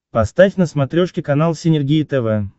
поставь на смотрешке канал синергия тв